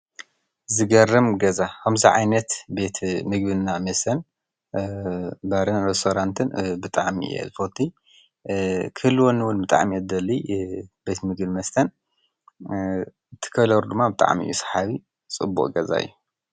ዘገርም ገዛ ከመዚ ዓይነት ቤት ምግቢ እና መስተ ባርን ሬስትራንት ብጣዕሚ እየ ዝፈቱ ክህልወኒ እወን ብጣዕም እየዚደሊ ቤት ምግቢን መስትን እቲ ከለሩ ድማ ብጣዕሚ እዩ ሳሓቢ ፅቡቕ ገዛ እዩ::